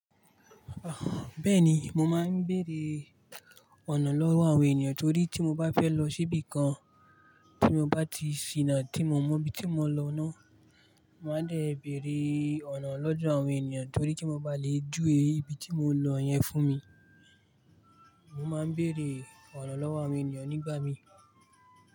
Bẹ́ẹ̀ni, mo máa ń bèèrè ọ̀nà lọ́wọ́ àwọn ènìyàn torí tí mo bá fẹ́ lọ síbì kan tí mo bá ti ṣìnà tí mii mọ ibi tí mo ń lọ ná. Mo máa ń dé bèèrè ọ̀nà lọ́dọ́ àwọn ènìyàn torí kí won ba lè júwé ibi tí mo ń lọ yẹn fún mi. Mo máa ń bèèrè ọ̀nà lọ́wọ́ àwọn ènìyàn nígbà míi.